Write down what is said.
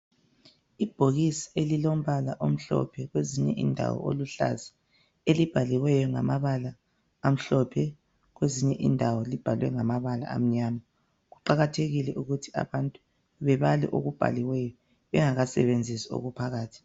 Ibhokisi elilombala omhlophe kwezinye indawo oluhlaza elibhaliweyo ngamabala amhlophe kwezinye indawo libhaliwe ngamabala amyama kuqakathekile ukuthi abantu bebale okubhaliweyo bengakadebenzisi okuphakathi.